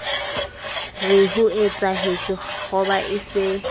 re hoetsahetse kgoba e se